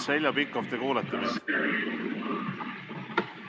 Heljo Pikhof, kas te kuulete mind?